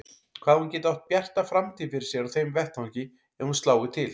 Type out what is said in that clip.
Hvað hún geti átt bjarta framtíð fyrir sér á þeim vettvangi ef hún slái til.